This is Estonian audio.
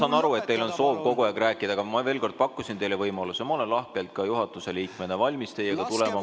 Ma saan aru, et teil on soov kogu aeg rääkida, aga ma ütlen veel kord, et ma pakkusin teile võimaluse: ma olen lahkelt ka juhatuse liikmena valmis teiega tulema kohvikusse ...